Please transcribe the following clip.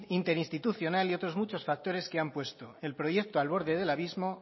interinstitucional y otros muchos factores que han puesto el proyecto al borde del abismo